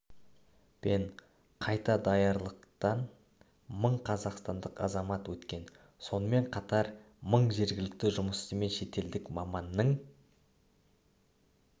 пен қайта даярлықтан мың қазақстандық азамат өткен сонымен қатар мың жергілікті жұмысшы мен шетелдік маманның